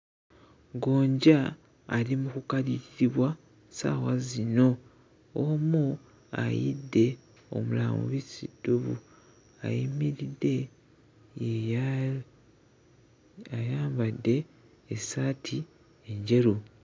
Gonja ali mu kukaliribwa ssaawa zino; omu ayidde, omulala mubisi ddubu. Ayimiridde ye ya... ayambadde essaati enjeru.